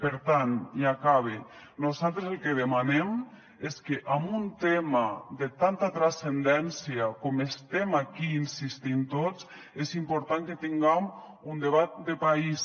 per tant i acabe nosaltres el que demanem és que amb un tema de tanta transcendència com estem aquí insistint tots és important que tinguem un debat de país